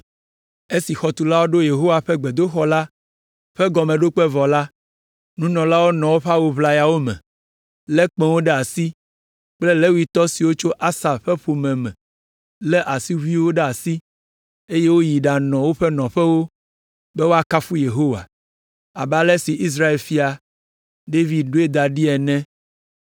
Esi xɔtulawo ɖo Yehowa ƒe gbedoxɔ la ƒe gɔmeɖokpe vɔ la, nunɔlawo nɔ woƒe awu ʋlayawo me, lé kpẽwo ɖe asi kple Levitɔ siwo tso Asaf ƒe ƒome me, lé asiʋuiwo ɖe asi, eye woyi ɖanɔ woƒe nɔƒewo be woakafu Yehowa, abe ale si Israel fia, David ɖoe da ɖi ene.